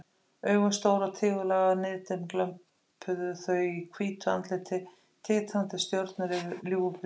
Augun stór og tígullaga, niðdimm glömpuðu þau í hvítu andliti, tindrandi stjörnur yfir ljúfu brosi.